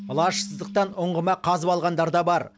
лажсыздықтан ұңғыма қазып алғандар да бар